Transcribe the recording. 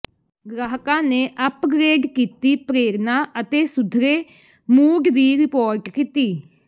ਗ੍ਰਾਹਕਾਂ ਨੇ ਅਪਗ੍ਰੇਡ ਕੀਤੀ ਪ੍ਰੇਰਣਾ ਅਤੇ ਸੁਧਰੇ ਮੂਡ ਦੀ ਰਿਪੋਰਟ ਕੀਤੀ